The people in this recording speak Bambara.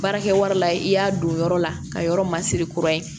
Baarakɛ wari la i y'a don yɔrɔ la ka yɔrɔ masiri kura ye